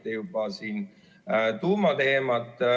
Te mainisite juba tuumateemat.